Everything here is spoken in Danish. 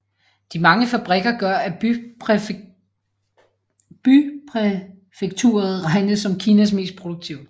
De mange fabrikker gør at bypræfekturet regnes som Kinas mest produktive